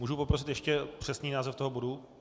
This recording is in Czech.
Můžu poprosit ještě přesný název toho bodu.